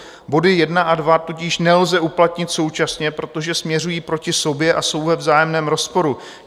Body 1 a 2 tudíž nelze uplatnit současně, protože směřují proti sobě a jsou ve vzájemném rozporu.